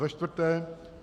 Za čtvrté.